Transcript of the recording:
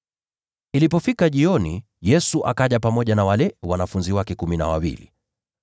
Ilipofika jioni, Yesu akaja pamoja na wale wanafunzi wake kumi na wawili.